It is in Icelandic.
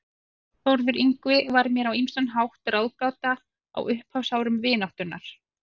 Þórður Yngvi var mér á ýmsan hátt ráðgáta á upphafsárum vináttunnar.